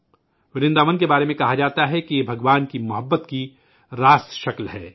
ورنداون کے بارے میں کہا جاتا ہے کہ یہ بھگوان کی محبت کا براہ راست مظہر ہے